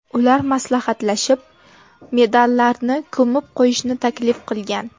Ular maslahatlashib, medallarni ko‘mib qo‘yishni taklif qilgan.